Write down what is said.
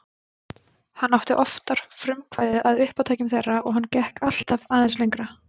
Hann átti oftar frumkvæðið að uppátækjum þeirra og hann gekk alltaf aðeins lengra.